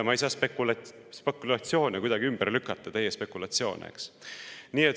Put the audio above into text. Ma ei saa kuidagi ümber lükata spekulatsioone, teie spekulatsioone.